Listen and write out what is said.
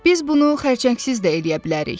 Biz bunu xərçəngsiz də eləyə bilərik.